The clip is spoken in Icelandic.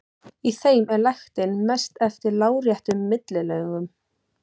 Í þeim er lektin mest eftir láréttum millilögum.